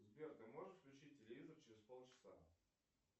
сбер ты можешь включить телевизор через полчаса